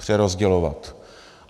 Přerozdělovat.